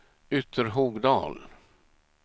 Ytterhogdal